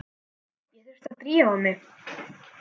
Ég þurfti að drífa mig.